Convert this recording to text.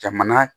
Jamana